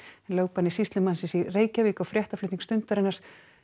en lögbanni sýslumannsins í Reykjavík á fréttaflutning Stundarinnar